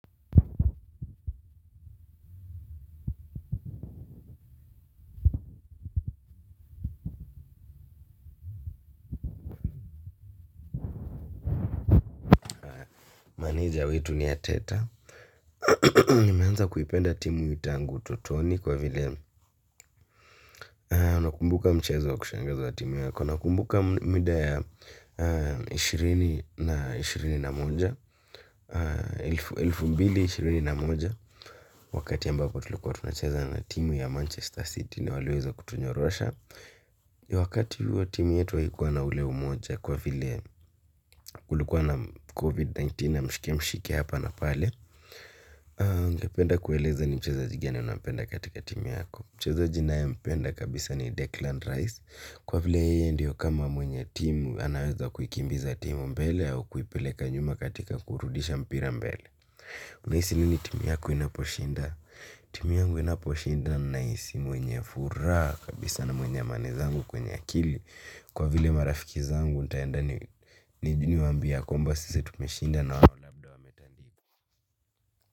Maneja wetu ni Arteta. Nimeanza kuipenda timu hii tangu ututoni kwa vile nakumbuka mchezo wa kushangaza timu yako. Nakumbuka mida ya ishirini na ishirini na moja elfu mbili ishirini na moja wakati ambako tulikua tunacheza na timu ya Manchester City na waliweza kutunyorosha. Wakati huo timu yetu aikua na ule umoja kwa vile kulikua na COVID-19 na mshike mshike hapa na pale. Ngependa kueleza ni mchezaji gani unapenda katika timu yako. Mchezaji naye mpenda kabisa ni Decland Rice. Kwa vile yeye ndio kama mwenye timu anaweza kuikimbiza timu mbele au kuipeleka nyuma katika kuurudisha mpira mbele. Unaisi nini timu yako inaposhinda? Timu yangu inaposhinda naisi mwenye furaa kabisa na mwenye amani zangu kwenye akili wa vile marafiki zangu ntaenda ni waambie ya kwamba sisi tumeshinda na wala.